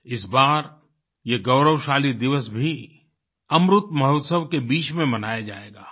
इस बार ये गौरवशाली दिवस भी अमृत महोत्सव के बीच में मनाया जाएगा